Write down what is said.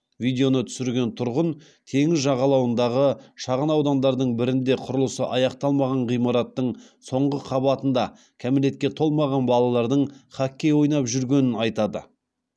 видеоны түсірген тұрғын теңіз жағалауындағы шағынаудандардың бірінде құрылысы аяқталмаған ғимараттың соңғы қабатында кәмелетке толмаған балалардың хоккей ойнап жүргенін айтады